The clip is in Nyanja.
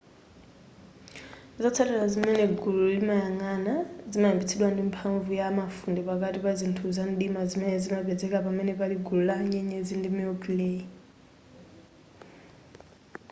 zotsatira zimene gulu limayang'ana zimayambitsidwa ndi mphamvu ya mafunde pakati pa zinthu zamdima zimene zimapezeka pamene pali gulu la nyenyezi ndi milky way